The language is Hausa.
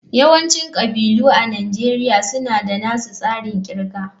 Yawancin kabilu a Najeriya suna da nasu tsarin kirga